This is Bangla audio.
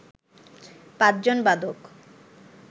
পাঁচজন বাদক